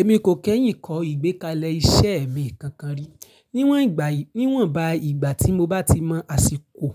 Èmi kò kẹ́yìn kọ ìgbékalẹ̀ iṣẹ́ mi kankan rí. Níwọ̀n ìgbà yí, níwọ̀n ba ìgbà tí mo bá ti mọ àsìkò